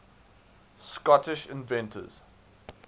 scottish inventors